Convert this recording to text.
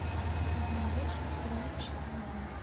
сезон восемь сериал счастливый город